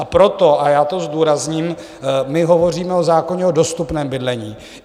A proto - a já to zdůrazním - my hovoříme o zákoně o dostupném bydlení.